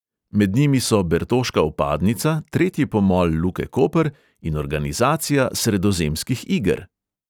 Med njimi so bertoška vpadnica, tretji pomol luke koper in organizacija sredozemskih iger.